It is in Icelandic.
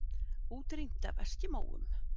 Útrýmt af eskimóum?